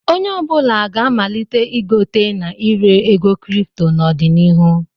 Onye ọ bụla ga-amalite igote na ire ego kripto n'ọdịnihu.